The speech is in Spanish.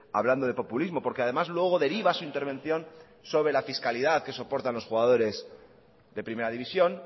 hablando de populismo porque además luego deriva su intervención sobre la fiscalidad que soportan los jugadores de primera división